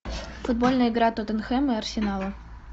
футбольная игра тоттенхэма и арсенала